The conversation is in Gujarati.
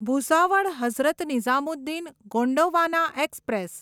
ભૂસાવળ હઝરત નિઝામુદ્દીન ગોંડવાના એક્સપ્રેસ